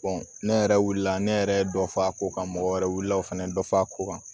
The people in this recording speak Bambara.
ne yɛrɛ wilila ne yɛrɛ ye dɔ fɔ a ko kan mɔgɔ wɛrɛ wilila o fana dɔ fa ko kan